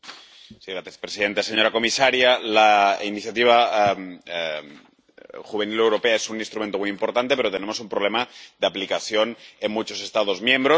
Señora presidenta, señora comisaria, la Iniciativa de Empleo Juvenil europea es un instrumento muy importante, pero tenemos un problema de aplicación en muchos Estados miembros.